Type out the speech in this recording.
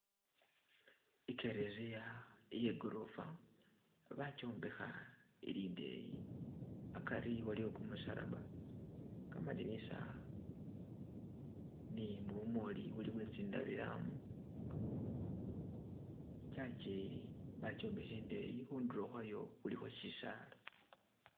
Ikereziya iyegorofa bakyombekha ili ndeyi akari waliyo kumusalaba, kamadinisa ne bumooli buli bwe tsi ndabilwamu . E church yi bakyombekha indeyi, khundulo kwhayo khulikho shisala.